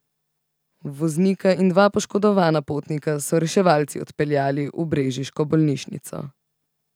Voznika in dva poškodovana potnika so reševalci odpeljali v brežiško bolnišnico.